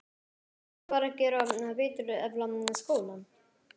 Má ekki bara gera betur, efla skólann?